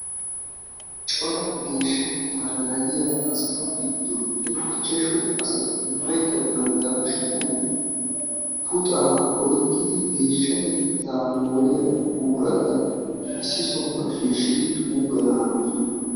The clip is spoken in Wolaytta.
Cora geshshatteta naagiyaa asatu gidoppe ichchashu asatti ubaykka bantta kushshiyan puxaa oyqqidi geshshatteta moriyaa buuratta issi sohuwaa shishshid xuuggana hanossona